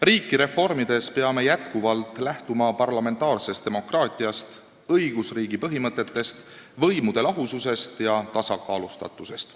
Riiki reformides peame jätkuvalt lähtuma parlamentaarsest demokraatiast, õigusriigi põhimõtetest, võimude lahususest ja tasakaalustatusest.